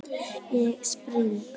Ég spring.